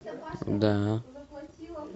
да